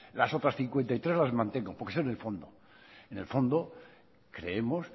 las otras cincuenta y tres las mantengo porque son de fondo en el fondo creemos